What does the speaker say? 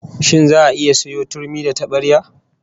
Shin za'a iya sayo turmi da tabarya?